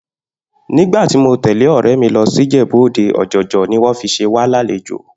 Nígbà tí mo tè̩lé ò̩ré̩ mi lo̩ sí Ìjè̩bú-Òde, ò̩jò̩jò̩ ni wó̩n fi s̩e wá lálejò